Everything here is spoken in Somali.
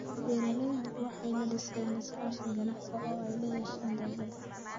Beeraleydu waxay la dhisayaan iskaashi ganacsi oo ay la yeeshaan dawladda.